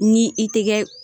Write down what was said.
Ni i tɛ kɛ